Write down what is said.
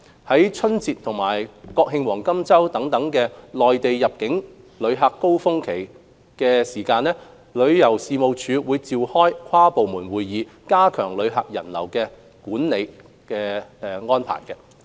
在春節和國慶黃金周等內地旅客入境高峰期前，旅遊事務署會召開跨部門會議，加強旅客人流的管理措施。